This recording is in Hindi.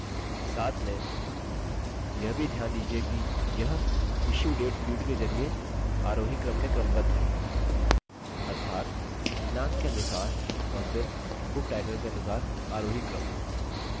साथ में यह भी ध्यान दीजिये कि यह issue date field के जरिये आरोही क्रम में क्रमबद्ध है अर्थात दिनांक के अनुसार और फिर book title के अनुसार आरोही क्रम में